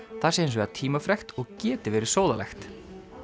það sé hins vegar tímafrekt og geti verið sóðalegt